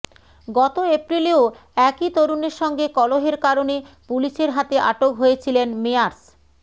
গত এপ্রিলেও একই তরুণের সঙ্গে কলহের কারণে পুলিশের হাতে আটক হয়েছিলেন মেয়ার্স